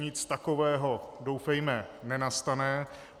Nic takového doufejme nenastane.